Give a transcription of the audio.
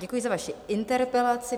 Děkuji za vaši interpelaci.